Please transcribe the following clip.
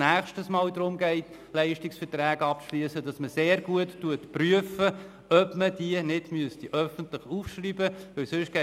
Dies, damit bei einem nächsten Mal, wenn es darum geht, Leistungsverträge abzuschliessen, sehr gut geprüft wird, ob man die Vergaben öffentlich ausschreiben müsste.